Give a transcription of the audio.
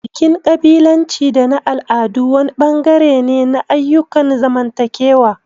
Bikin ƙabilanci da na al'adu wani bangare ne na ayyukan zamantakewa.